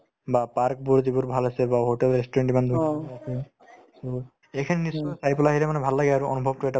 বা park বোৰ যিবোৰ ভাল আছে বা hotel restaurant ইমান so এইখিনি নিশ্চয় চাই পেলাই ভাল লাগে আৰু অনুভৱতো এটা